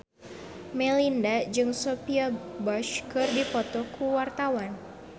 Melinda jeung Sophia Bush keur dipoto ku wartawan